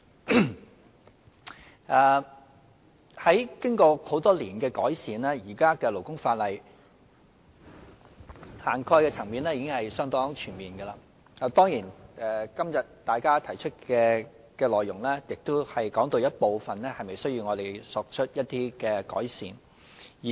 經過多年來的改善，現行勞工法例的涵蓋層面已相當全面，當然今天大家提出的內容亦談到有一部分是否需要我們作出一些改善。